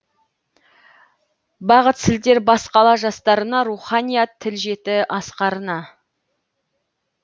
бағыт сілтер бас қала жастарына руханият тіл жетті асқарына